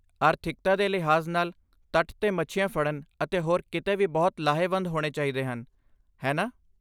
ਆਰਥਿਕਤਾ ਦੇ ਲਿਹਾਜ਼ ਨਾਲ, ਤੱਟ 'ਤੇ ਮੱਛੀਆਂ ਫੜਨ ਅਤੇ ਹੋਰ ਕਿੱਤੇ ਵੀ ਬਹੁਤ ਲਾਹੇਵੰਦ ਹੋਣੇ ਚਾਹੀਦੇ ਹਨ, ਹੈ ਨਾ?